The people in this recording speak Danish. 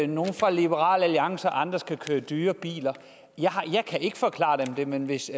nogle fra liberal alliance og andre skal køre i dyre biler jeg kan ikke forklare dem det men hvis